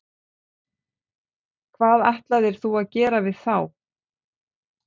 Hvað ætlar þú að gera við þá?